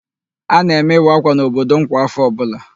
A na-eme ịwa ákwà n'obodo m kwa áfọ̀ ọbụla.